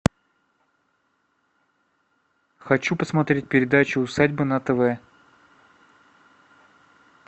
хочу посмотреть передачу усадьба на тв